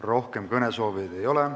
Rohkem kõnesoovijaid ei ole.